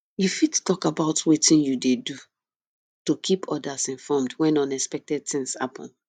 you fit talk about wetin you dey do to keep odas informed when unexpected things happen